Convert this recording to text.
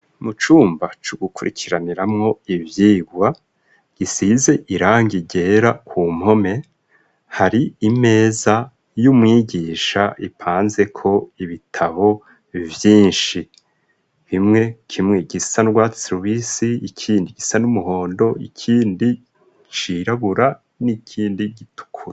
Mu cumba c'ugukurikiraniramwo ivyigwa gisize irangi gera ku mpome hari imeza y'umwigisha ipanze ko ibitabo byinshi bimwe kimwe gisa nrwa servisi ikindi gisa n'umuhondo ikindi ciragura n'ikindi gitukura.